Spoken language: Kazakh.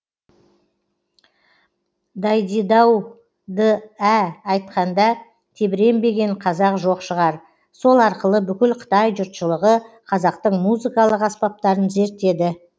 дайдидаудыә айтқанда тебіренбеген қазақ жоқ шығар сол арқылы бүкіл қытай жұртшылығы қазақтың музыкалық аспаптарын зерттеді